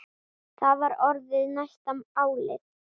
Það var orðið næsta áliðið.